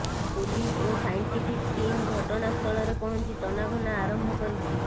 police ଓ scientific team ଘଟଣାସ୍ଥଳରେ ପହଞ୍ଚି ତନାଘନା ଆରମ୍ଭ କରିଛି